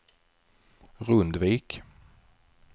Rundvik